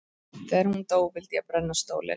Þegar hún dó vildi ég brenna stólinn.